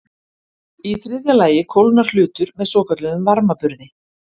Í þriðja lagi kólnar hlutur með svokölluðum varmaburði.